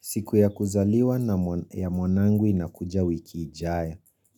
Siku ya kuzaliwa ya mwanangu inakuja wiki ijayo.